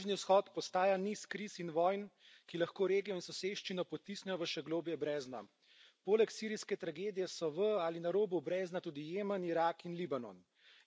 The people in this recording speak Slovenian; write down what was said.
Bližnji vzhod postaja niz kriz in vojn, ki lahko regijo in soseščino potisnejo v še globlja brezna. Poleg sirijske tragedije so v ali na robu brezna tudi Jemen, Irak in Libanon.